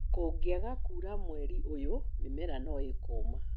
Kũngĩaga kuura mweri ũyũ, mĩmera no ĩkũma.